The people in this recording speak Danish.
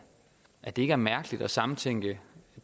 at det ikke er mærkeligt at samtænke